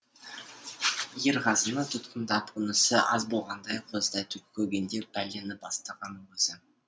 ерғазыны тұтқындап онысы аз болғандай қозыдай көгендеп пәлені бастаған өзі